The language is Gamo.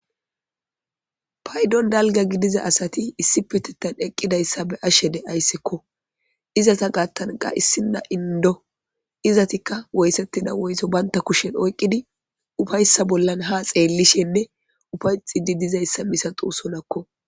Paydon dalga gidiza asati issi petettan eqqidayssa be7ashe de7ayssekko. Izata gaattan qa issinna inddo. Izatikka woysettida woyto bantta kushen oyqqidi ufayssa bollan ha xeellishenne ufayxidi dizayssa misatoosonakko.